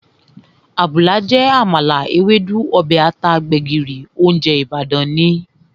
Àbùlà jẹ́ àmàlà, Ewédú, ọbẹ̀ ata, gbẹ̀gìrì, óúnjẹ Ìbàdàn ni